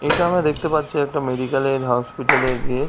এটা আমরা দেখতে পাচ্ছি একটা মেডিকেল এর হসপিটাল এর গেট ।